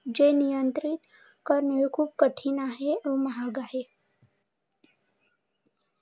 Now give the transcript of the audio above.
जे नियंत्रित करणे कठीण आहे आणि महाग आहे.